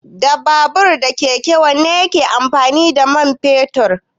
Da babur da keke wanne ne yake amfani da mai fetur?